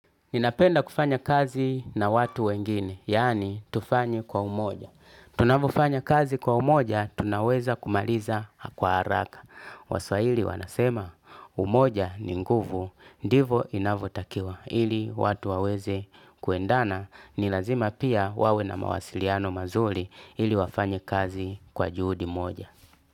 Ninapenda kufanya kazi na watu wengine, yaani tufanye kwa umoja. Tunavyofanya kazi kwa umoja, tunaweza kumaliza kwa haraka. Waswahili wanasema, umoja ni nguvu, ndivo inavotakiwa. Ili watu waweze kuendana, nilazima pia wawe na mawasiliano mazuri ili wafanye kazi kwa juhudi moja.